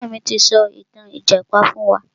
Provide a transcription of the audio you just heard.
Bàbá mi ti sọ ìtàn ìjàpá fún wa.